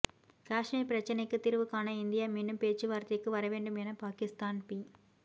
காஷ்மீர் பிரச்சினைக்குத் தீர்வு காண இந்தியா மீண்டும் பேச்சுவார்த்தைக்கு வர வேண்டும் என பாகிஸ்தான் பி